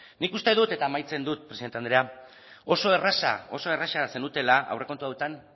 nik uste dut eta amaitzen du presidente andrea oso erraza oso erraza zenutela aurrekontu hauetan